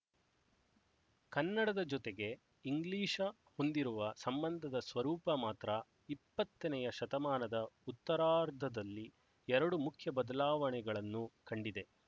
ಕನ್ನಡದ ಜೊತೆಗೆ ಇಂಗ್ಲಿಶ ಹೊಂದಿರುವ ಸಂಬಂಧದ ಸ್ವರೂಪ ಮಾತ್ರ ಇಪ್ಪತ್ತನೆಯ ಶತಮಾನದ ಉತ್ತರಾರ್ಧದಲ್ಲಿ ಎರಡು ಮುಖ್ಯ ಬದಲಾವಣೆಗಳನ್ನು ಕಂಡಿದೆ